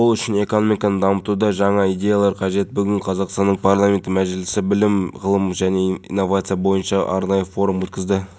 мен ғимараттарына шабуыл жасалды тоғыз адам қаза тапты тергеу мәліметі бойынша қылмыскер жалғыз әрекет еткен